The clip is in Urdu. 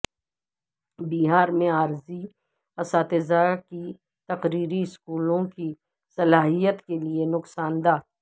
بہار میں عارضی اساتذہ کی تقرری اسکولوں کی صلاحیت کیلئے نقصاندہ